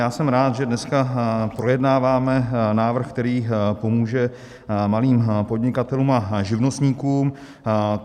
Já jsem rád, že dneska projednáváme návrh, který pomůže malým podnikatelům a živnostníkům.